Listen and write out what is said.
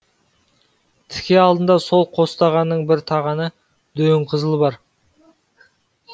тіке алдында сол қостағанның бір тағаны дөңқызыл бар